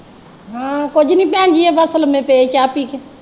ਹਾਂ। ਕੁੱਝ ਨਈਂ ਭੈਣ ਜੀ ਆਹ ਬਸ ਲੰਮੇ ਪਏ ਚਾਹ ਪੀ ਕੇ।